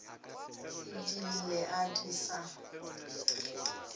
e di lle e sa